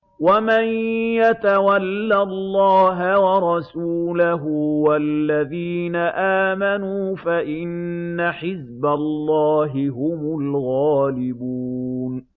وَمَن يَتَوَلَّ اللَّهَ وَرَسُولَهُ وَالَّذِينَ آمَنُوا فَإِنَّ حِزْبَ اللَّهِ هُمُ الْغَالِبُونَ